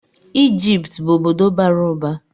Ijipt bụ obodo bara ụba.